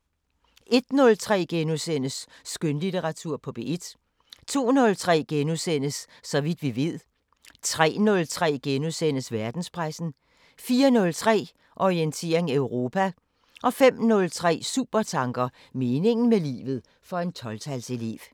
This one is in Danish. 01:03: Skønlitteratur på P1 * 02:03: Så vidt vi ved * 03:03: Verdenspressen * 04:03: Orientering Europa 05:03: Supertanker: Meningen med livet – for en 12-tals elev